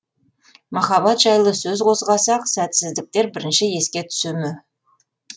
махаббат жайлы сөз қозғасақ сәтсіздіктер бірінші еске түсе ме